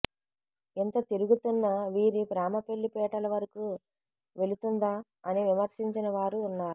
ఇంత తిరుగుతున్న వీరి ప్రేమ పెళ్లి పీటల వరకు వెళుతుందా అని విమర్శించిన వారూ వున్నారు